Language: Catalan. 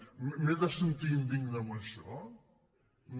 m’he de sentir indigne amb això no